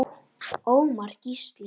Ómar Gísli.